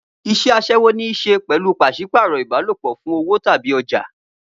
Iṣẹ́ aṣẹ́wó ní í ṣe pẹ̀lú pàṣípààrọ̀ ìbálòpọ̀ fún owó tàbí ọjà.